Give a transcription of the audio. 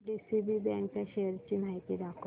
DCB बँक च्या शेअर्स ची माहिती दाखव